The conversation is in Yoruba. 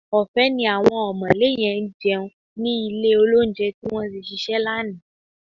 Ọ̀fẹ́ ni àwọn ọ̀mọ̀lé yẹn jẹun ní ilé-olóunjẹ tí wọ́n tí ṣíṣe lánàá